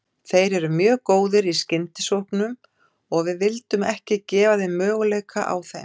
Þeir eru mjög góðir í skyndisóknum og við vildum ekki gefa þeim möguleika á þeim.